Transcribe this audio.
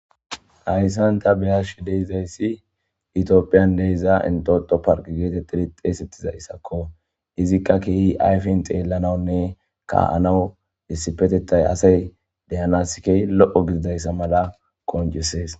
hayssanta beyashi deizayssi itiophiyan deiza intoto park geetet tiri xeesettiza issakko izikka kiiyi ayfin xeellananne ka7anawu issipetettay asay deyanaskey lo7o gididayssa mala konjesees